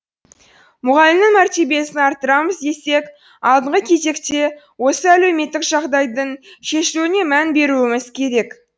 мұғалімнің мәртебесін арттырамыз десек алдыңғы кезекте осы әлеуметтік жағдайдың шешілуіне мән беруіміз керек